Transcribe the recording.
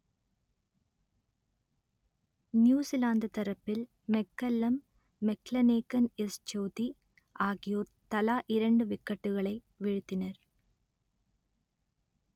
New Zealand தரப்பில் McCullum McClenaghan Ish Sodhi ஆகியோர் தலா இரண்டு விக்கெட்டுகளை வீழ்த்தினர்